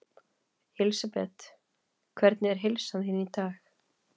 Elísabet: Hvernig er heilsa þín í dag?